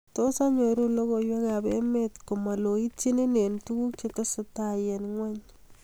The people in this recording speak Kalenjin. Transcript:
Tos anyoru logoywekab emet komaloityin eng tuguk chetestai eng ngweny